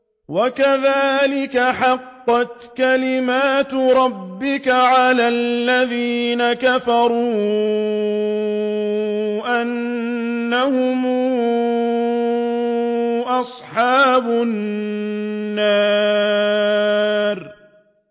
وَكَذَٰلِكَ حَقَّتْ كَلِمَتُ رَبِّكَ عَلَى الَّذِينَ كَفَرُوا أَنَّهُمْ أَصْحَابُ النَّارِ